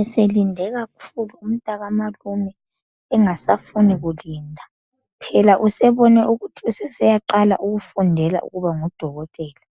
Eselinde kakhulu umntakamalume engasafuni kulinda phela usebone ukuthi usesiyaqala ukufundela ukuba ngudokotela